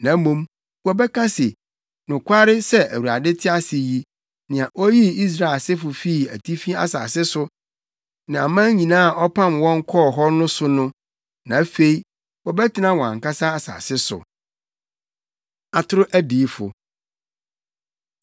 na mmom, wɔbɛka se, ‘Nokware sɛ Awurade te ase yi, nea oyii Israel asefo fii atifi asase so ne aman nyinaa a ɔpam wɔn kɔɔ hɔ no so no.’ Na afei wɔbɛtena wɔn ankasa asase so.” Atoro Adiyifo